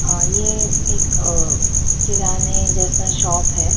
अ ये एक किराने जैसा शॉप है।